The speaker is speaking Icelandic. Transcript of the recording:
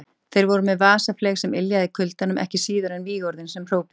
Þeir voru með vasafleyg sem yljaði í kuldanum, ekki síður en vígorðin sem hrópuð voru.